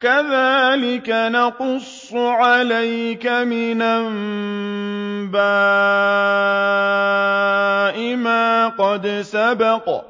كَذَٰلِكَ نَقُصُّ عَلَيْكَ مِنْ أَنبَاءِ مَا قَدْ سَبَقَ ۚ